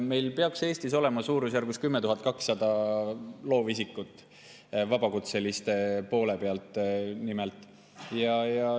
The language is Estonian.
Meil peaks Eestis olema suurusjärgus 10 200 loovisikut vabakutseliste poole pealt.